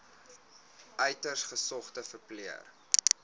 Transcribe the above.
uiters gesogde verpleër